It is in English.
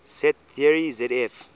set theory zf